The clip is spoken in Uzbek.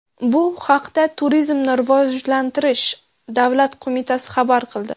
Bu haqda Turizmni rivojlantirish davlat qo‘mitasi xabar qildi .